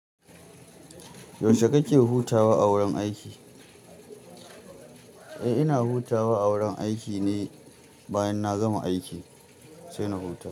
Yaushe kake hutawa a wurin aiki? Eh ina hutawa a wurin aiki ne bayan na gama aikin sai na huta.